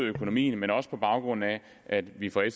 økonomien men også på baggrund af at vi fra